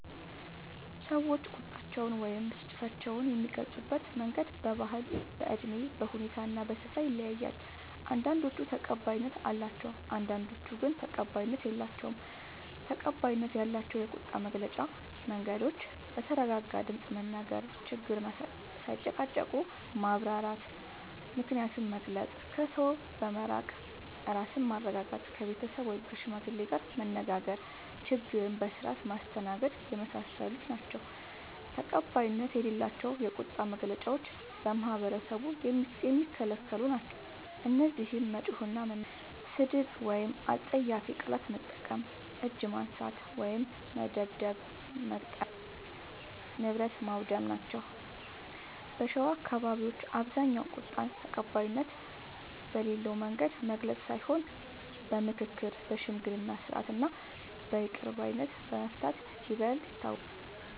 ሰዎች ቁጣቸውን ወይም ብስጭታቸውን የሚገልጹበት መንገድ በባህል፣ በእድሜ፣ በሁኔታ እና በስፍራ ይለያያል። አንዳንዶቹ ተቀባይነት አላቸው፣ አንዳንዶቹ ግን ተቀባይነት የላቸዉም። ፩. ተቀባይነት ያላቸው የቁጣ መግለጫ መንገዶች፦ በተረጋጋ ድምፅ መናገር፣ ችግርን ሳይጨቃጨቁ ማብራራት፣ ምክንያትን መግለጽ፣ ከሰው በመራቅ ራስን ማረጋጋት፣ ከቤተሰብ ወይም ከሽማግሌ ጋር መነጋገር፣ ችግርን በስርዓት ማስተናገድና የመሳሰሉት ናቸዉ። ፪. ተቀባይነት የሌላቸው የቁጣ መግለጫዎች በማህበረሰቡ የሚከለክሉ ናቸዉ። እነዚህም መጮህ እና መናገር፣ ስድብ ወይም አስጸያፊ ቃላት መጠቀም፣ እጅ ማንሳት (መደብደብ/መግጠም) ፣ ንብረት ማዉደም ናቸዉ። በሸዋ አካባቢዎች በአብዛኛዉ ቁጣን ተቀባይነት በሌለዉ መንገድ መግለጽ ሳይሆን በምክክር፣ በሽምግልና ስርዓት እና በይቅር ባይነት በመፍታት ይበልጥ ይታወቃል።